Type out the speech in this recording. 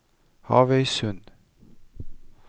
Havøysund